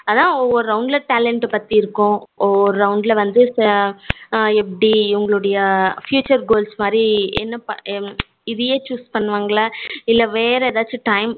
அதான் ஒவ்வொரு round talent பத்தி இருக்கும், ஒவ்வொரு round வந்து எப்படி இவங்களுடைய future goals மாதிரி என்ன இதயே choose பண்ணுவாங்களா இல்ல வேற ஏதாச்சும் time